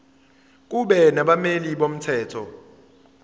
kube nabameli bomthetho